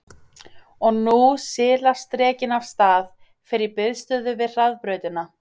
Og nú silast drekinn af stað, fer í biðstöðu við hraðbrautina.